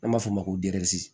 An b'a fɔ o ma ko